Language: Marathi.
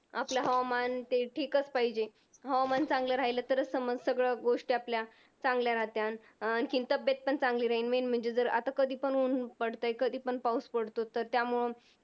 आपलं हवामान ते ठीकच पाहिजे. हवामान चांगलं राहिले तरच समाज सगळ्या गोष्टी आपल्या चांगल्या राहत्याल. आणखीन तब्येत पण चांगली राहील. Main म्हणजे आता कधी पण ऊन पडतंय कधीपण पाऊस पडतोय, तर त्यामुळे